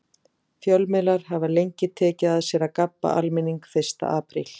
Fjölmiðlar hafa lengi tekið að sér að gabba almenning fyrsta apríl.